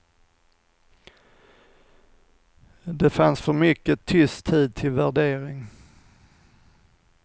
Det fanns för mycket tyst tid till värdering.